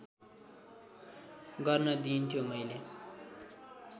गर्न दिइन्थ्यो मैले